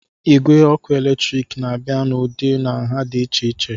Igwe ọkụ eletrik na-abịa n'ụdị na nha dị iche iche